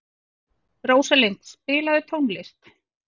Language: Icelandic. Rósalind, spilaðu tónlist.